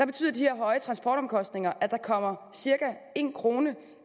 betyder de høje transportomkostninger at der kommer cirka en kroner